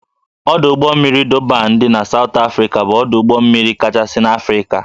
Ọdụ ụgbọ mmiri Dọban dị na Sawt Afrịka bụ ọdụ ụgbọ mmiri kachasị n'Afrịka